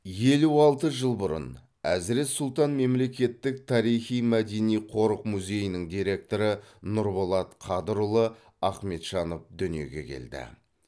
елу алты жыл бұрын әзірет сұлтан мемлекеттік тарихи мәдени қорық музейінің директоры нұрболат қадырұлы ахметжанов дүниеге келді